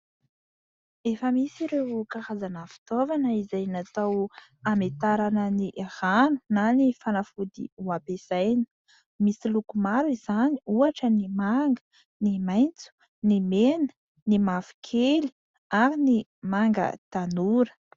Efa misy ireo karazana fitaovana izay natao hametarana ny rano na ny fanafody ho ampesaina. Misy loko maro izany, ohatra: ny manga, ny maitso, ny mena, ny mavokely ary ny manga tanora.